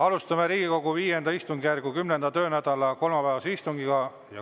Alustame Riigikogu V istungjärgu 10. töönädala kolmapäevast istungit.